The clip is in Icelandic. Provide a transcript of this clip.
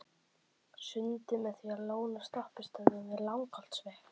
Sundið með því að lóna á stoppistöðvum við Langholtsveg.